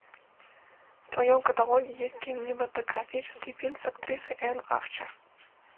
в твоем каталоге есть кинематографический фильм с актрисой энн арчер